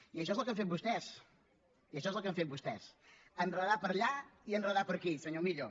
i això és el que han fet vostès i això és el que han fet vostès enredar per allà i enredar per aquí senyor millo